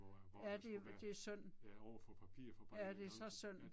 Ja det det er synd. Ja det er så syndt